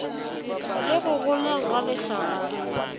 le go goleng ga lehlagare